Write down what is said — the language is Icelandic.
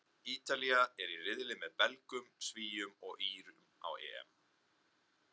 Ítalía er í riðli með Belgum, Svíum og Írum á EM.